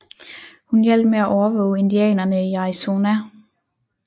Hun hjalp med at overvåge indianerne i Arizona